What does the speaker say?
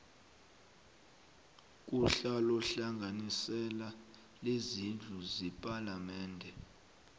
kuhlalohlanganisela lezindlu zepalamende